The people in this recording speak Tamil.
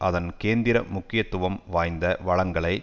அதன் கேந்திர முக்கியத்துவம் வாய்ந்த வளங்களை